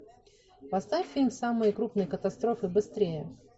поставь фильм самые крупные катастрофы быстрее